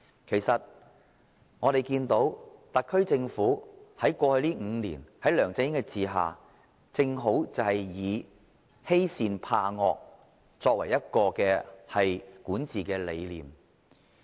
其實，我們看到特區政府在過去5年，在梁振英的管治下，正好以欺善怕惡作為管治理念。